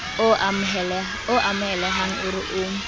o amohelehang o re o